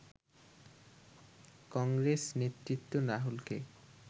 কংগ্রেস নেতৃত্ব রাহুলকে